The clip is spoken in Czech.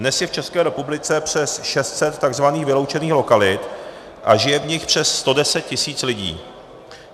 Dnes je v České republice přes 600 tzv. vyloučených lokalit a žije v nich přes 110 tisíc lidí.